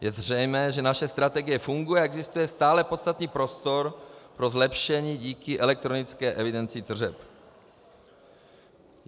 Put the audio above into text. Je zřejmé, že naše strategie funguje, ale existuje stále podstatný prostor pro zlepšení díky elektronické evidenci tržeb.